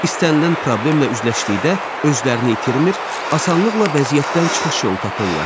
İstənilən problemlə üzləşdikdə özlərini itirmir, asanlıqla vəziyyətdən çıxış yolu tapırlar.